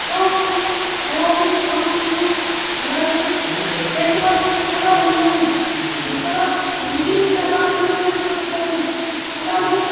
షోపులు అలాగే షాంపులు అలాగే షెంట్ బాటిల్స్ కూడా ఉన్నాయి ఇక్కడ అన్ని రకాలుగాయినా దొరుకుతాయి అలాగే --